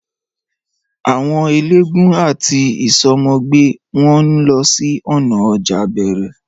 Àwọn eléégún àti ìsomogbè wọn ń lọ sí ònà ọjà bẹẹrẹ